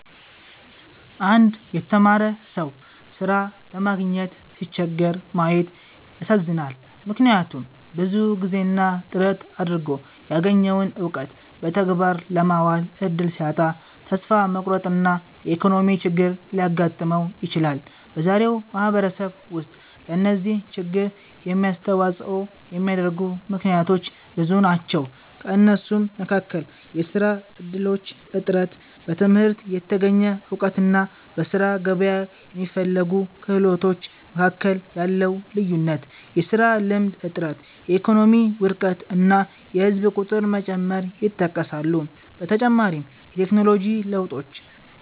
አንድ የተማረ ሰው ሥራ ለማግኘት ሲቸገር ማየት ያሳዝናል፤ ምክንያቱም ብዙ ጊዜና ጥረት አድርጎ ያገኘውን እውቀት በተግባር ለማዋል እድል ሲያጣ ተስፋ መቁረጥና የኢኮኖሚ ችግር ሊያጋጥመው ይችላል። በዛሬው ማህበረሰብ ውስጥ ለዚህ ችግር የሚያስተዋጽኦ የሚያደርጉ ምክንያቶች ብዙ ናቸው። ከእነሱም መካከል የሥራ እድሎች እጥረት፣ በትምህርት የተገኘ እውቀትና በሥራ ገበያ የሚፈለጉ ክህሎቶች መካከል ያለው ልዩነት፣ የሥራ ልምድ እጥረት፣ የኢኮኖሚ ውድቀት እና የህዝብ ቁጥር መጨመር ይጠቀሳሉ። በተጨማሪም የቴክኖሎጂ ለውጦች